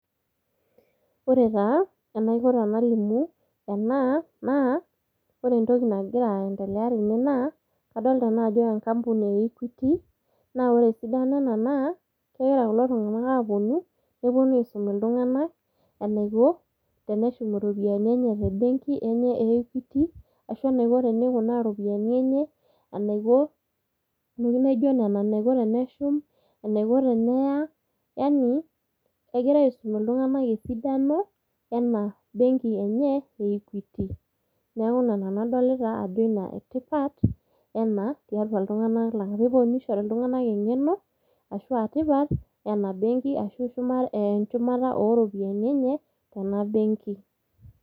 Ore taa enaiko tenalimu ena naa ore entoki nagira aendelea tene naa kadolita naa adolta naa ajo enkampuni e equity naa ore esidano ena naa kegira kulo tung'anak aponu neponu aisum iltung'anak enaiko teneshum iropiani te benki enye e equity ashu eneiko tenikunaa iropiani enye enaiko intokitin naijio nena enaiko teneshum enaiko teneya yani ekira aisum iltung'anak esidano ena benki enye e equity neeku ina nanu adolita ajo ina etipat ena tiatua iltung'anak lang peponunui nishori iltung'anak eng'eno ashua tipat ena benki ashu shuma eh enchumata oropiani enye tena benki.